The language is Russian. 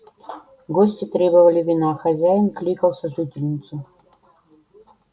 гости требовали вина хозяин кликал сожительницу